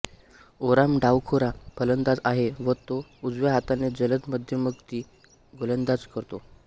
ओराम डावखोरा फलंदाज आहे व तो उजव्या हाताने जलद मध्यमगती गोलंदाजी करतो